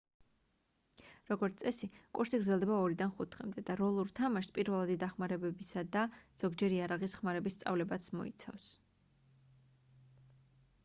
როგორც წესი კურსი გრძელდება 2-დან 5 დღემდე და როლურ თამაშს პირველადი დახმარებისა და ზოგჯერ იარაღის ხმარების სწავლებას მოიცავს